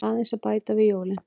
Aðeins að bæta við jólin.